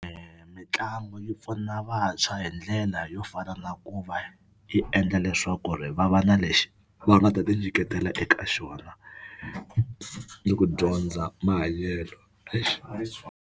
Mitlangu yi pfuna vantshwa hi ndlela yo fana na ku va yi endla leswaku ri va va na lexi va nga ta tinyiketela eka xona ni ku dyondza mahanyelo .